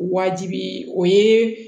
Waajibi o ye